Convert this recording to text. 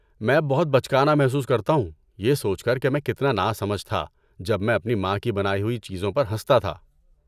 میں اب بہت بچکانہ محسوس کرتا ہوں یہ سوچ کر کہ میں کتنا نا سمجھ تھا جب میں اپنی ماں کی بنائی ہوئی چیزوں پر ہنستا تھا۔